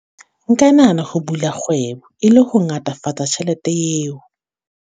Nka nahana ho bula kgwebo, e le ho ngatafatsa tjhelete eo.